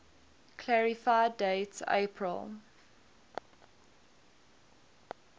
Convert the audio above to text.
clarify date april